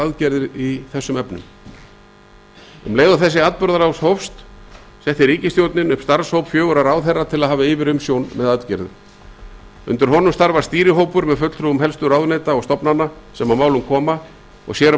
aðgerðir í þessum efnum um leið og þessi atburðarás hófst setti ríkisstjórnin upp starfshóp fjögurra ráðherra til að hafa yfirumsjón með aðgerðum undir honum starfar stýrihópur með fulltrúum helstu ráðuneyta og stofnana sem að málum koma og sér